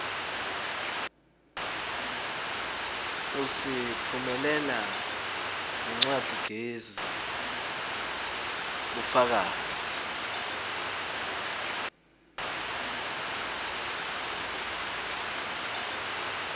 usitfumelela ngencwadzigezi bufakazi